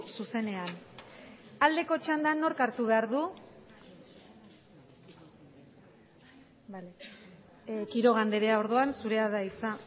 zuzenean aldeko txandan nork hartu behar du quiroga andrea orduan zurea da hitza